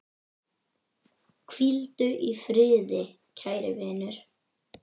Hvíldu í friði, kæri vinur.